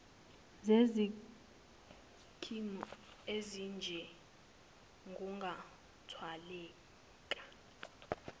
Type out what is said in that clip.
zesikimu esinje kungathwaleka